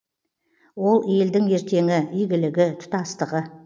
ол елдің ертеңі игілігі тұтастығы